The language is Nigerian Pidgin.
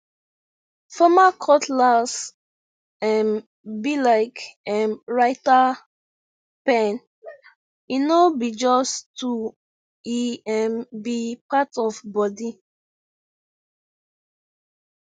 farmer cutlass um be like um writer pen e no be just tool e um be part of body